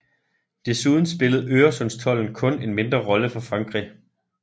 Desuden spillede Øresundstolden kun en mindre rolle for Frankrig